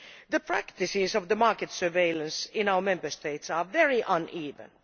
The practices of market surveillance in our Member States are very uneven.